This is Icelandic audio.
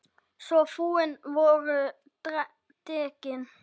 Svo fúin voru dekkin.